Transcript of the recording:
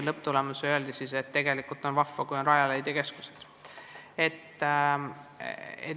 Lõpptulemusena aga leiti, et tegelikult on vahva, kui meil on Rajaleidja keskused.